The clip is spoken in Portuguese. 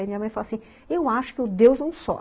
E minha mãe fala assim, eu acho que o Deus é um só.